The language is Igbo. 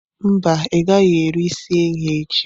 Mba, ị gaghị eri isi ehi echi.